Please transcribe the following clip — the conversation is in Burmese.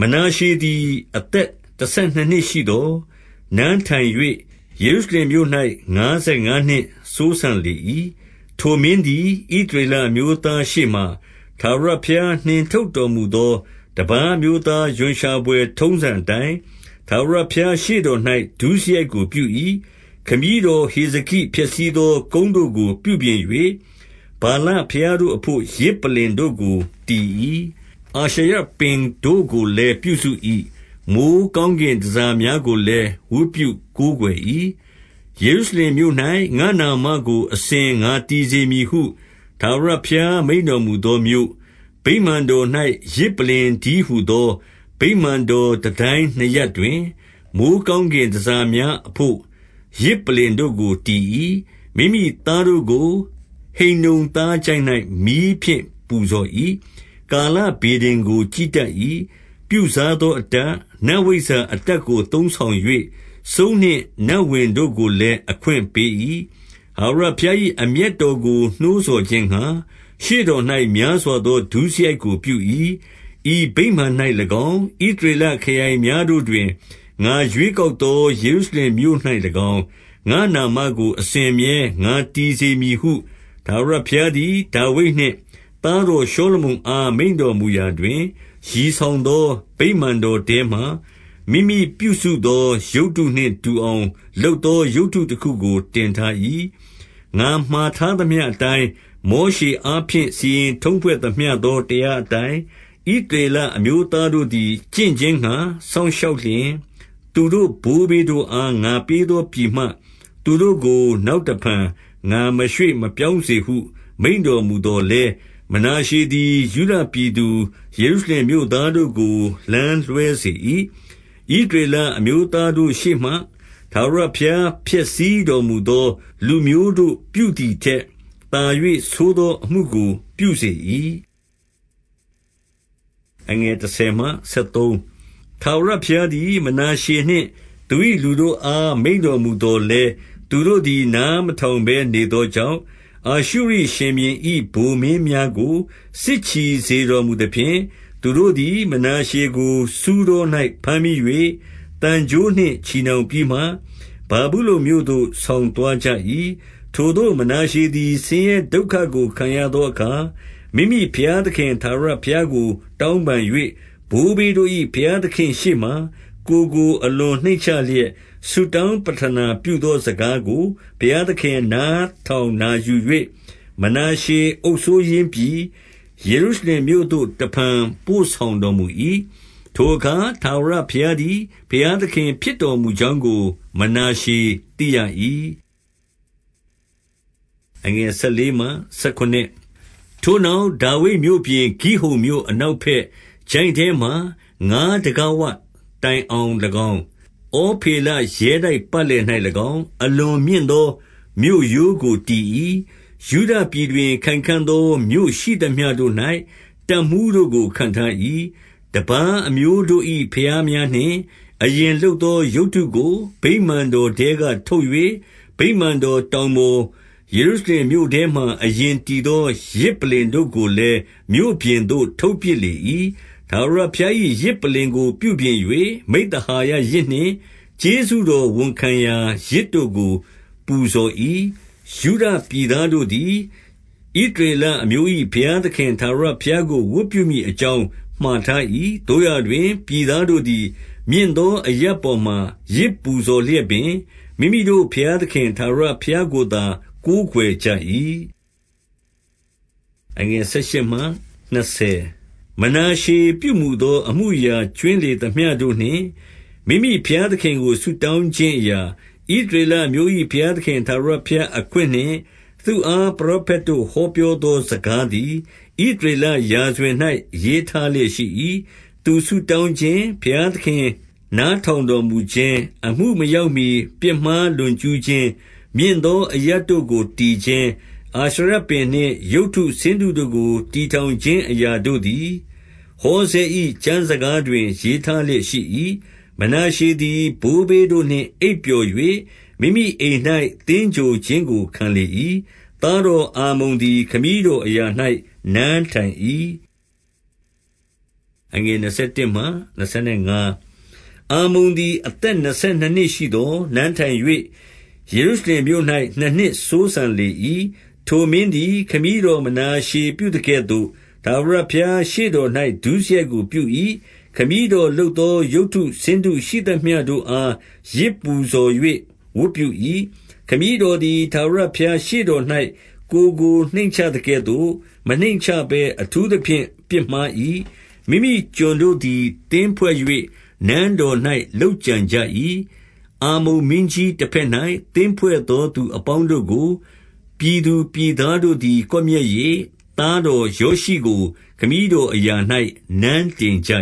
မနာရှေသည် အသက်တဆယ်နှစ်နှစ်ရှိသော်၊ နန်းထိုင်၍ ယေရုရှလင်မြို့၌ ငါးဆယ်ငါးနှစ် စိုးစံလေ၏။ 2 ထိုမင်းသည် ဣသရေလအမျိုးသား ရှေ့မှာ၊ ထာဝရဘုရားနှင် ထုတ်တော်မူသော တပါးအမျိုးသား ရွံရှာဘွယ်ထုံးစံအတိုင်း၊ ထာဝရဘုရားရှေ့တော်၌ ဒုစရိုက်ကိုပြု၏။ 3 ခမည်းတော်ဟေဇကိဖျက်ဆီးသော ကုန်းတို့ကို ပြုပြင်၍၊ ဗာလဘုရားတို့အဘို့ ယဇ်ပလ္လင်တို့ကို တည်၏။ အာရှရပင်တို့ကိုလည်း ပြုစု၏။ မိုဃ်းကောင်းကင်တန်ဆာ များကိုလည်း ဝတ်ပြုကိုးကွယ်၏။ 4 ယေရုရှလင်မြို့၌ ငါ့နာမကိုအစဉ် ငါတည်စေ မည်ဟု ထာဝရဘုရား မိန့်တော်မူသောမြို့၊ ဗိမာန်တော်၌ ယဇ်ပလ္လင်တည်းဟူသော၊ 5 ဗိမာန်တော်တန်တိုင်းနှစ်ရပ်တွင်၊ မိုဃ်း ကောင်းကင်တန်ဆာများ အဘို့ ယဇ်ပလ္လင်တို့ကိုတည်၏။ 6 မိမိသားတို့ကို ဟိန္နုံသားချိုင့်၌ မီးဖြင့်ပူဇော်၏။ ကာလဗေဒင်ကို ကြည့်တတ်၏။ ပြုစားသောအတတ်၊ နတ်ဝိဇ္ဇာအတတ်ကို သုံးဆောင်၍၊ စုန်းနှင့်နတ်ဝင် တို့ကိုလည်း အခွင့်ပေး၏။ ထာဝရဘုရား၏ အမျက်တော်ကို နှိုးဆော်ခြင်းငှါ ရှေ့တော်၌များစွာသော ဒုစရိုက်ကို ပြု၏။ 7 ဤဗိမာန်၌၎င်း၊ ဣသရေလခရိုင်များတို့တွင် ငါရွေးကောက်သော ယေရုရှလင်မြို့၌၎င်း၊ ငါ့နာမကို အစဉ်အမြဲ ငါတည်စေမည်ဟု ထာဝရဘုရားသည် ဒါဝိဒ်နှင့်သားတော် ရှောလမုန်အား မိန့်တော်မူရာ၌၊ ရည်ဆောင်သောဗိမာန်တော်ထဲမှာ၊ မိမိပြုစုသော ရုပ်တု နှင့် တူအောင်လုပ်သော ရုပ်တုတခုကိုတင်ထား၏။ 8 ငါမှာထားသမျှအတိုင်း၊ မောရှအားဖြင့် စီရင် ထုံးဖွဲ့သမျှသော တရာအတိုင်း၊ ဣသရေလအမျိုးသားတို့ သည် ကျင့်ခြင်းငှါ စောင့်ရှောက်လျှင်၊ သူတို့ ဘိုးဘေးတို့ အား ငါပေးသောပြည်မှ၊ သူတို့ကို နောက်တဖန် ငါမရွေ့ မပြောင်းစေဟု မိန့်တော်မူသော်လည်း၊ 9 မနာရှေသည် ယုဒပြည်သူ ယေရုရှလင်မြို့သား တို့ကို လမ်းလွဲစေ၏။ ဣသရေလအမျိုးသားတို့ရှေ့မှ၊ ထာဝရဘုရားဖျက်ဆီးတော်မူသော လူမျိုးတို့ပြုသည် ထက်၊ သာ၍ဆိုးသောအမှုကိုပြုစေ၏။ 10 ထာဝရဘုရားသည် မနာရှေနှင့်သူ၏ လူတို့အား မိန့်တော်မူသော် လည်း၊ သူတို့သည် နားမထောင်ဘဲ နေသောကြောင့်၊ 11 အာရှုရိရှင်ဘုရင်၏ ဗိုလ်မင်းများကို စစ်ချီ စေတော်မူသဖြင့်၊ သူတို့သည် မနာရှေကို ဆူးတော်၌ ဘမ်းမိ၍၊ သံကြိုးနှင့်ချည်နှောင်ပြီးမှ၊ ဗာဗုလုန်မြို့သို့ ဆောင်သွားကြ၏။ 12 ထိုသို့မနာရှေသည် ဆင်းရဲဒုက္ခကို ခံရသော အခါ၊ မိမိဘုရားသခင် ထာဝရဘုရားကို တောင်းပန်၍၊ ဘိုးဘေးတို့၏ ဘုရားသခင့်ရှေ့မှာ ကိုယ်ကို အလွန် နှိမ့်ချလျက်၊ 13 ဆုတောင်းပဌနာ ပြုသောစကားကို ဘုရား သခင် နားထောင်နာယူ၍၊ မနာရှေအုပ်စိုးရင်းပြည်၊ ယေရုရှလင်မြို့သို့ တဖန်ပို့ဆောင်တော်မူ၏။ ထိုအခါ ထာဝရဘုရားသည် ဘုရားသခင်ဖြစ်တော်မူကြောင်းကို မနာရှေ သိရ၏။ 14 ထိုနောက်၊ ဒါဝိဒ်မြို့ပြင်၊ ဂိဟုန်မြို့ အနောက် ဘက်၊ ချိုင့်ထဲမှာ ငါတံခါးဝတိုင်အောင်၎င်း၊ ဩဖေလ ရဲတိုက်ပတ်လည်၌၎င်း၊ အလွန်မြင့်သော မြို့ရိုးကို တည်၏။ ယုဒပြည်တွင် ခိုင်ခံ့သောမြို့ရှိသမျှတို့၌ တပ်မှူး တို့ကို ခန့်ထား၏။ 15 တပါးအမျိုးတို့၏ ဘုရားများနှင့် အရင်လုပ် သောရုပ်တုကို၊ ဗိမာန်တော်ထဲက ထုတ်၍၊ ဗိမာန်တော် တောင်ပေါ်၊ ယေရုရှလင်မြို့ထဲမှာ အရင်တည်သော ယဇ်ပလ္လင်တို့ကိုလည်း မြို့ပြင်သို့ ထုတ်ပစ်လေ၏။ 16 ထာဝရဘုရား၏ ယဇ်ပလ္လင်ကိုပြုပြင်၍၊ မိဿ ဟာယယဇ်နှင့် ကျေးဇူးတော်ဝန်ခံရာ ယဇ်တို့ကိုပူဇော်၏။ ယုဒပြည်သားတို့သည်၊ ဣသရေလအမျိုး၏ ဘုရားသခင် ထာဝရဘုရားကို ဝတ်ပြုမည်အကြောင်း မှာထား၏။ 17 သို့ရာတွင် ပြည်သားတို့သည် မြင့်သောအရပ် ပေါ်မှာ ယဇ်ပူဇော်လျက်ပင်၊ မိမိတို့ဘုရားသခင် ထာဝရ ဘုရားကိုသာ ကိုးကွယ်ကြ၏။ 18 မနာရှေပြုမူသောအမှုအရာ ကြွင်းလေသမျှတို့ နှင့် မိမိဘုရားသခင်ကို ဆုတောင်းခြင်းအရာ၊ ဣသရေလ အမျိုး၏ ဘုရားသခင် ထာဝရဘုရား အခွင့်နှင့်သူ့အား ပရောဖက်တို့ ဟောပြောသောစကားသည်၊ ဣသရေလ ရာဇဝင်၌ ရေးထားလျက်ရှိ၏။ 19 သူဆုတောင်းခြင်း၊ ဘုရားသခင်နားထောင်တော်မူခြင်း၊ အမှုမရောက်မှီ ပြစ်မှားလွန်ကျူးခြင်း၊ မြင့်သောအရပ် တို့ကို တည်ခြင်း၊ အာရှရပင်နှင့် ရုပ်တုဆင်းတုတို့ကို တည်ထောင်ခြင်းအရာတို့သည်၊ ဟောဇဲ၏ ကျမ်းစကားတွင် ရေးထားလျက်ရှိ၏။ 20 မနာရှေသည် ဘိုးဘေးတို့နှင့် အိပ်ပျော်၍၊ မိမိအိမ်၌ သင်္ဂြိုဟ်ခြင်းကို ခံလေ၏။ သားတော်အားမုန် သည် ခမည်းတော်အရာ၌ နန်းထိုင်၏။ 21 အာမုန်သည် အသက်နှစ်ဆယ်နှစ်နှစ်ရှိသော်၊ နန်းထိုင်၍ ယေရုရှလင်မြို့၌ နှစ်နှစ်စိုးစံလေ၏။ 22 ထိုမင်းသည် ခမည်းတော်မနာရှေပြုသကဲ့သို့ ထာဝရဘုရားရှေ့တော်၌ ဒုစရိုက်ကိုပြု၏။ ခမည်းတော် လုပ်သော ရုပ်တုဆင်းတုရှိသမျှတို့အား ယဇ်ပူဇော်၍ ဝတ်ပြု၏။ 23 ခမည်းတော်သည် ထာဝရဘုရားရှေ့တော်၌ ကိုယ်ကိုနှိမ့်ချသကဲ့ သို့ မနှိမ့်ချဘဲအထူးသဖြင့် ပြစ်မှား၏။ 24 မိမိကျွန်တို့သည် သင်းဖွဲ့၍ နန်းတော်၌ လုပ်ကြံ ကြ၏။ 25 အားမုန်မင်းကြီး တဘက်၌သင်းဖွဲ့သောသူ အပေါင်းတို့ကို၊ ပြည်သူပြည်သားတို့သည် ကွပ်မျက်၍၊ သားတော်ယောရှိကို ခမည်းတော်အရာ၌နန်းတင်ကြ